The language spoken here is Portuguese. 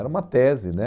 Era uma tese, né?